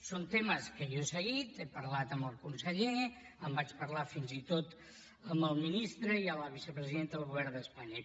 són temes que jo he seguit n’he parlat amb el conseller en vaig parlar fins i tot amb el ministre i amb la vicepresidenta del govern d’espanya